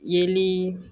Yeli